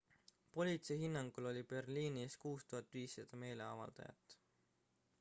politsei hinnangul oli berliinis 6500 meeleavaldajat